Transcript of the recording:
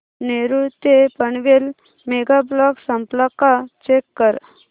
नेरूळ ते Panvel mega block संपला का चेक कर